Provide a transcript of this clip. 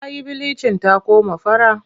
Ta yi bilicin ta koma fara.